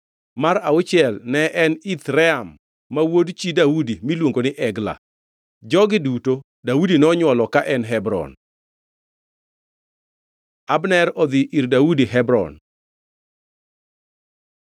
mar auchiel ne en Ithream ma wuod chi Daudi miluongo ni Egla. Jogi duto Daudi nonywolo ka en Hebron. Abner odhi ir Daudi Hebron